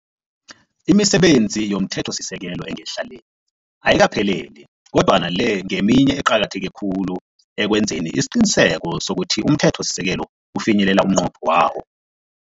Imisebenzi yomthethosisekelo engehla le, ayikaphelele kodwana le ngeminye eqakatheke khulu ekwenzeni isiqiniseko sokuthi umthethosisekelo ufinyelela umnqopho wawo.